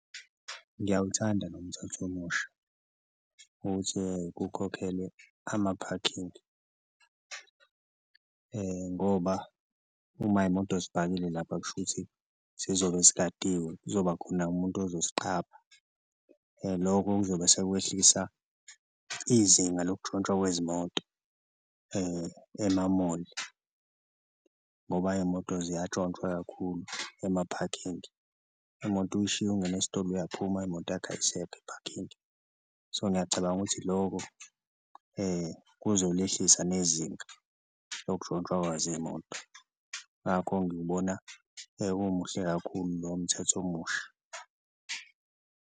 Ngiyawuthanda lo mthetho omusha ukuthi kukhokhelwe amaphakhingi ngoba uma imoto zipakile lapha kushuthi zizobe zigadiwe, kuzoba khona umuntu uzoziqapha loko kuzobe sekwehlisa izinga lokutshontshwa kwezimoto emamoli ngoba iy'moto ziyatshontshwa kakhulu emaphakhingi. Imoto uyishiye ungene esitolo uyaphuma imoto yakho ayisekho ephakhingi so, ngiyacabanga ukuthi loko kuzolehlisa nezinga lokuntshontshwa kwazo iy'moto ngakho ngiwubona umuhle kakhulu lo mthetho omusha.